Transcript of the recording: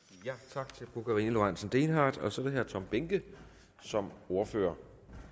tak til fru karina lorentzen dehnhardt og så er det herre tom behnke som ordfører